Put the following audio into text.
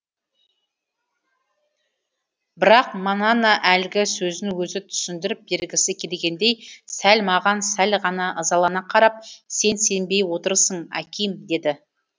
бірақ манана әлгі сөзін өзі түсіндіріп бергісі келгендей сәл маған сәл ғана ызалана қарап сен сенбей отырсың аким деді